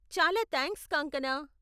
చాలా థాంక్స్ కాంగ్కనా!